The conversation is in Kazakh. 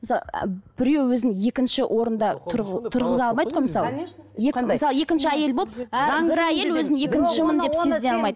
мысалы і біреу өзін екінші орында тұрғыза алмайды ғой мысалы